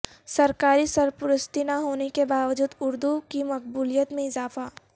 سرکاری سرپرستی نہ ہونے کے باوجود اردو کی مقبولیت میں اضافہ